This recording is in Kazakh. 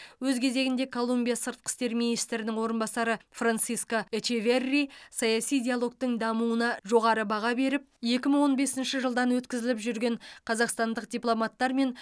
өз кезегінде колумбия сыртқы істер министрінің орынбасары франсиско эчеверри саяси диалогтың дамуына жоғары баға беріп екі мың он бесінші жылдан өткізіліп жүрген қазақстандық дипломаттар мен